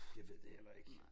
Jeg ved det heller ikke